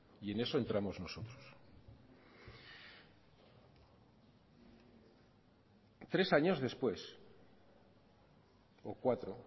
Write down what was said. y en eso entramos nosotros tres años después o cuatro